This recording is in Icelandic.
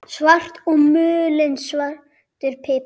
Salt og mulinn svartur pipar